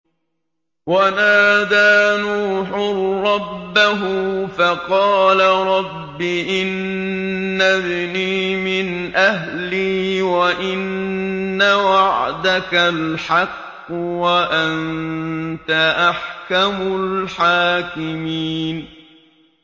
وَنَادَىٰ نُوحٌ رَّبَّهُ فَقَالَ رَبِّ إِنَّ ابْنِي مِنْ أَهْلِي وَإِنَّ وَعْدَكَ الْحَقُّ وَأَنتَ أَحْكَمُ الْحَاكِمِينَ